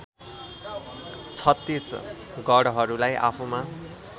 छत्तीस गढहरूलाई आफूमा